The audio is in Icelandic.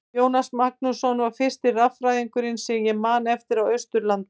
Jónas Magnússon var fyrsti raffræðingurinn sem ég man eftir á Austurlandi.